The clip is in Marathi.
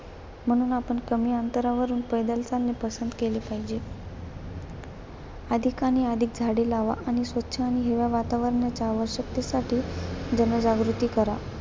म्हणून आपण कमी अंतरावरून पैदल चालणे पसंत केले पाहिजे. अधिक आणि अधिक झाडे लावा आणि स्वच्छ आणि हिरव्या वातावरणाच्या आवश्यकतेसाठी जनजागृती करा.